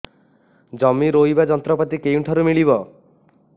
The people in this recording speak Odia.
ଜମି ରୋଇବା ଯନ୍ତ୍ରପାତି କେଉଁଠାରୁ ମିଳିବ